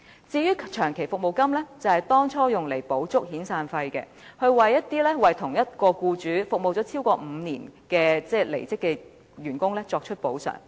至於長期服務金，當初是用來填補遣散費的不足，為一些為同一名僱主服務超過5年的離職員工作出補償。